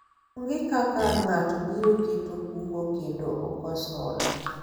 onge kaka ng'ato biro keto kungo kendo okos hola